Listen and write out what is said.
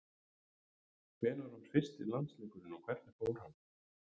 Hvenær var fyrsti landsleikurinn og hvernig fór hann?